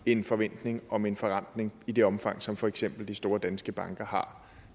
en forventning om en forrentning i det omfang som for eksempel de store danske banker har